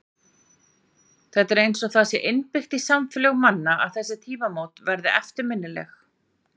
Það er eins og það sé innbyggt í samfélög manna að þessi tímamót verði eftirminnileg.